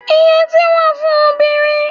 Ìyètí wà fún obìnrin.